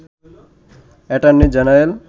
attorney general